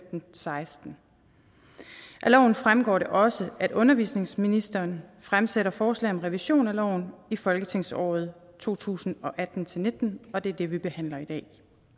seksten af loven fremgår det også at undervisningsministeren fremsætter forslag om revision af loven i folketingsåret to tusind og atten til nitten og det er det vi behandler i dag